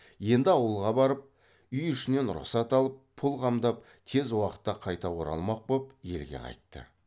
енді ауылға барып үй ішінен рұқсат алып пұл қамдап тез уақытта қайта оралмақ боп елге қайтты